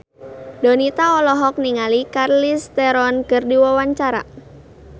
Donita olohok ningali Charlize Theron keur diwawancara